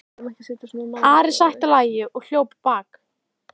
Ari sætti lagi og hljóp á bak.